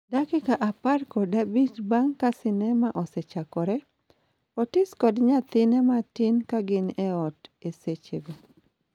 dakika apar kod abich bang' ka sinema osechakore, Otis kod nyathine matin kagin eot eseche go,